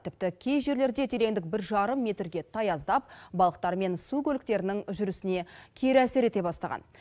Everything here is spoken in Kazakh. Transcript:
тіпті кей жерлерде тереңдік бір жарым метрге таяздап балықтар мен су көліктерінің жүрісіне кері әсер ете бастаған